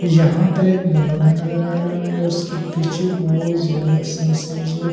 यहां पर एक बंगला नजर आ रहा है उसके पीछे बहुत ज्यादा सरसों--